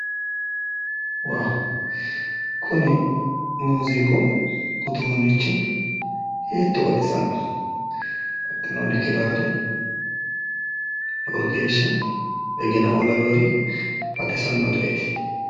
Waa! kuni muuziiqu uduunnichi hiitto baxisanno hattono kiraare lowo geeshsha begena"oo laweyoori baxisannoreeti.